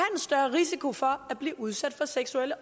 risiko for at blive udsat for seksuelle